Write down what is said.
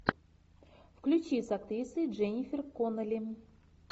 включи с актрисой дженнифер коннелли